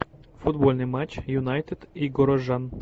футбольный матч юнайтед и горожан